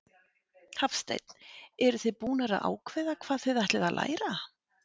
Hafsteinn: Eruð þið búnar að ákveða hvað þið ætlið að læra?